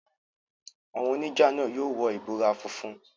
Àwọn oníjà náà yóò wọ ìbora funfun.